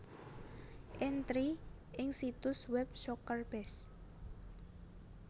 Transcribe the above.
Entri ing situs web SoccerBase